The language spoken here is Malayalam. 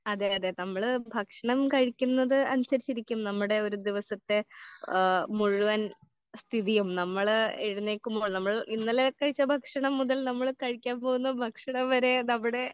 അതെ അതെ നമ്മൾ ഭക്ഷണം കഴിക്കുന്നത് അനുസരിച്ച് ഇരിക്കും നമ്മുടെ ഒരു ദിവസത്തെ ഏഹ് മുഴുവൻ സ്ഥിതിയും നമ്മൾ ഇതിലേക്ക് നമ്മൾ ഇന്നലെ കഴിച്ച ഭക്ഷണം മുതൽ നമ്മൾ കഴിക്കാൻ പോകുന്ന ഭക്ഷണം വരെ നമ്മടെ